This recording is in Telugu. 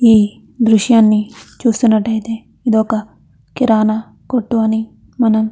ఈ దృశ్యాన్ని చూసినటయితే ఇది ఒక కిరాణా కొట్టు అని మనం --